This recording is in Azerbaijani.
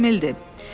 Şifrə Emil!